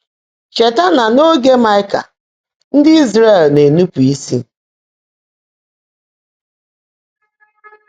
Chèètaá ná n’óge Máịkà, ndị́ Ị́zràẹ̀l ná-énúpụ́ ísí.